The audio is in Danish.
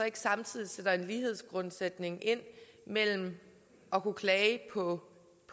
ikke samtidig sætter en lighedsgrundsætning ind mellem at kunne klage på